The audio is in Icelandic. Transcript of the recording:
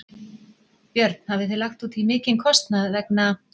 Björn: Hafið þið lagt útí mikinn kostnað vegna?